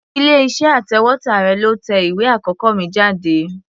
Ilé-iṣẹ́ atẹ̀wétà rẹ̀ ló tẹ ìwé àkọ́kọ́ mi jáde.